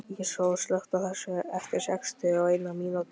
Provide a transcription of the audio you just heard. Íssól, slökktu á þessu eftir sextíu og eina mínútur.